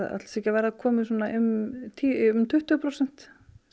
ekki að verða komið svona um tuttugu prósent